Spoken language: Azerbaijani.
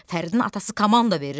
Fəridin atası komanda verir.